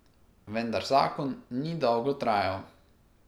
Vendar zakon ni dolgo trajal.